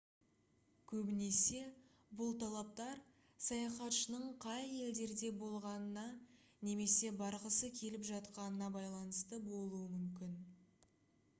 көбінесе бұл талаптар саяхатшының қай елдерде болғанына немесе барғысы келіп жатқанына байланысты болуы мүмкін